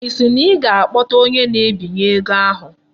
Ị sị na ị ga-akpọta onye na-ebinye ego ahụ?